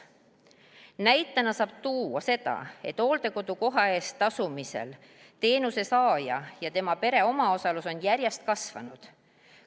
Näitena saab tuua seda, et hooldekodukoha eest tasumisel on teenuse saaja ja tema pere omaosalus järjest kasvanud.